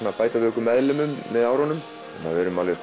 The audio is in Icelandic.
að bæta við okkur meðlimum með árunum